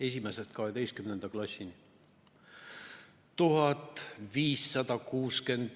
Esimesest kaheteistkümnenda klassini 1569 tundi.